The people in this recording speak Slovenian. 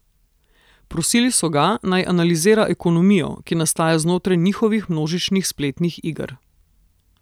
Prosili so ga, naj analizira ekonomijo, ki nastaja znotraj njihovih množičnih spletnih iger.